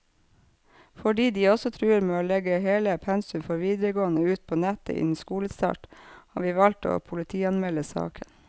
Fordi de også truer med å legge hele pensum for videregående ut på nettet innen skolestart, har vi valgt å politianmelde saken.